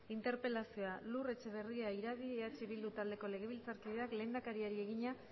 interpelazioa lur etxeberria iradi eh bildu taldeko legebiltzarkideak lehendakariari egina